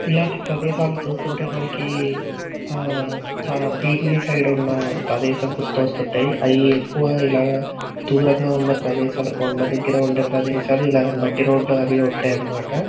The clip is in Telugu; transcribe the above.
ఇల్లాంటి చూస్తుంటే మనకి ఆహ్ బిమిల్లి సైడ్ ఉన్న ప్రదేశం గుర్తొస్తుంటాయి. అయి ఎక్కువ ఇలా దూరంగా ఉన్న ప్రదేశాలు కొండా దగ్గర ఉండే ప్రదేశాలు ఇలా మట్టి రోడ్ అవి ఉంటాయి అనమాట.